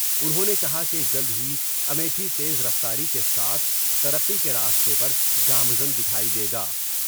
انھوں نے کہا کہ جلد ہی امیتھی تیز رفتاری کے ساتھ ترقی کے راستے پر گامزن دیکھایی دے گا